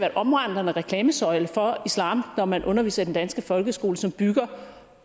en omvandrende reklamesøjle for islam når man underviser i den danske folkeskole som bygger